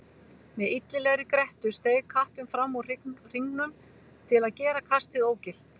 Með illilegri grettu steig kappinn fram úr hringnum til að gera kastið ógilt.